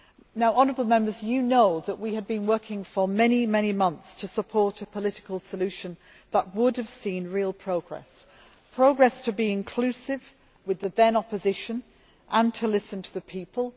Now honourable Members know that we had been working for many months to support a political solution that would have seen real progress, progress to be inclusive with the then opposition and to listen to the people.